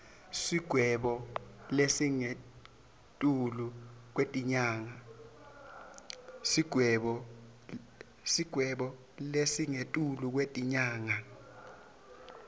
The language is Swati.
sigwebo lesingetulu kwetinyanga